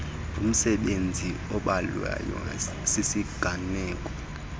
ngumsebenzi obhalwayo sisiganeko